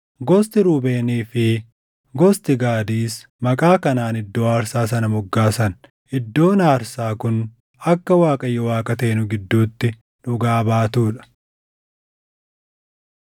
Gosti Ruubeenii fi gosti Gaadis maqaa kanaan iddoo aarsaa sana moggaasan: Iddoon Aarsaa kun akka Waaqayyo Waaqa taʼe Nu Gidduutti Dhugaa Baatuu dha.